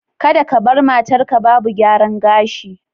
Kada ka bar matarka babu gyaran gashi;